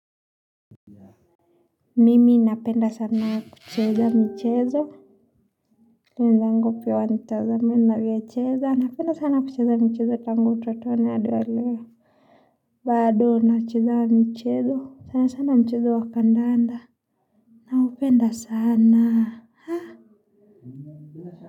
Mimi napenda sana kucheza michezo wenzangu pia wanitazame ninavyocheza napenda sana kucheza michezo tangu utotoni adi wa leo bado nacheza mchezo sana sana mchezo wa kandanda naupenda sana.